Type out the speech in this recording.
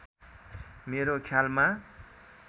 मेरो ख्यालमा